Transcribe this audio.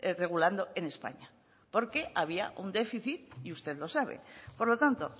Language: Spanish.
regulando en españa porque había un déficit y usted lo sabe por lo tanto